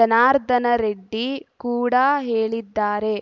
ಜನಾರ್ದನ ರೆಡ್ಡಿ ಕೂಡ ಹೇಳಿದ್ದಾರೆ